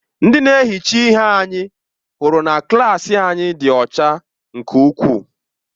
Ndị na-ehicha ihe anyị hụrụ na klaasị anyị dị ọcha nke ukwuu.